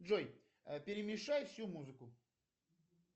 джой перемешай всю музыку